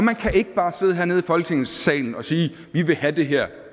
kan ikke bare sidde hernede i folketingssalen og sige vi vil have det her